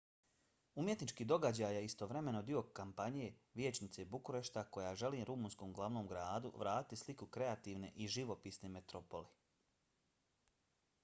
umjetnički događaj je istovremeno dio kampanje vijećnice bukurešta koja želi rumunskom glavnom gradu vratiti sliku kreativne i živopisne metropole